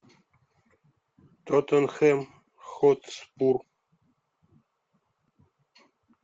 тоттенхэм хотспур